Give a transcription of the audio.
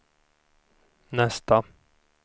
nästa